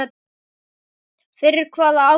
Fyrir hvaða afköst?